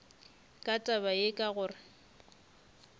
ka taba ye ka gore